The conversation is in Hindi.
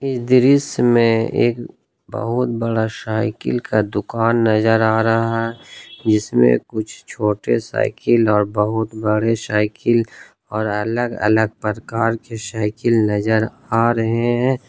इस दृश्य में एक बहुत बड़ा साइकिल का दुकान नजर आ रहा है जिसमें कुछ छोटा साइकिल और बहुत बड़े साइकिल और अलग अलग प्रकार की साइकिल नजर आ रहे हैं।